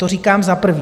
To říkám za prvé.